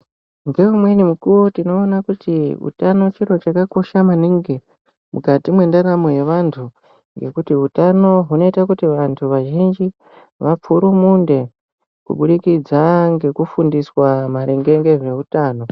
Ngeimweni mikuwo tinoona kuti utanochiro chakakosha maningi mukati mwendaramo yevantu ngekuti hutano hunoite kuti vantu vazhinji vapfurumunde kubudikidza ngekufundiswa maringe ngezveutano.